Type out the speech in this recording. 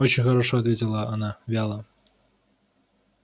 очень хорошо ответила она вяло